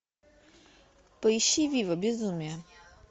поищи вива безумие